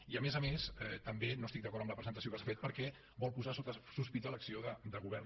i a més a més tampoc no estic d’acord amb la presentació que se n’ha fet perquè vol posar sota sospita l’acció de govern